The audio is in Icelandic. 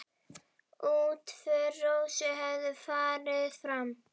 Útför Rósu hefur farið fram.